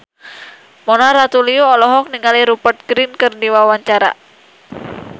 Mona Ratuliu olohok ningali Rupert Grin keur diwawancara